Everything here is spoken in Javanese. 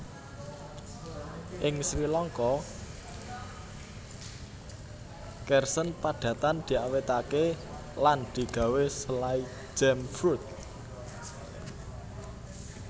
Ing Srilangka Kersen padatan diawètaké lan digawé selai jam fruit